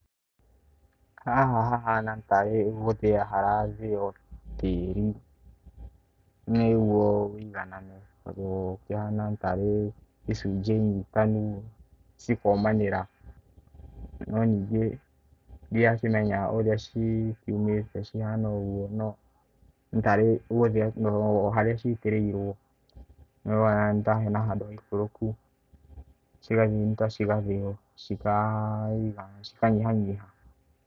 Haha hahana tarĩ gũthĩa harathĩo tĩri, nĩguo wĩiganane tondũ ũkĩhana tarĩ icunjĩ nyitanu cikomanĩra. No ningĩ ndirakĩmenya ũrĩa cikiumĩte cihana ũguo, no nĩ tari gũthĩa o harĩa citĩrĩirwo, nĩ ũrona nĩ ta hena handũ haikũrũku, cikanyitana cigathĩo cika nyihanyiha.